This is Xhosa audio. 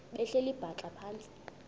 behleli bhaxa phantsi